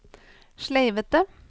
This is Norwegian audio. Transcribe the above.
sleivete